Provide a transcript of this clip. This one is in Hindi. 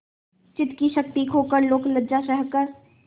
चित्त की शक्ति खोकर लोकलज्जा सहकर